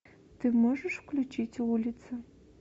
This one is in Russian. ты можешь включить улица